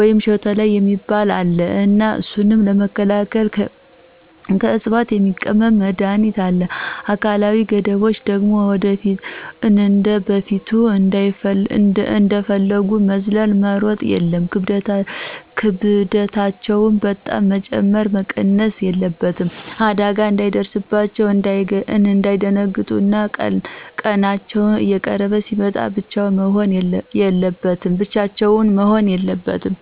ወይም ሾተላይ የሚባል አለ እና እሱን ለመከላክል ክዕፅዋት የሚቀምም መድሀኒት አለ። አካላዊ ገደቦች ደግሞ እንደበፊቱ እንደፈጉ መዝለል፣ መሮጥ የለም፣ ክብደታቸው በጣም መጨመረም መቀነስም የለበትም። አዳጋ እንዳይደርስባቸው፣ እንዳይደነግጡ እና ቀናቸው እየቀረበ ሲመጣ ብቻቸውን መሆን የለበትም።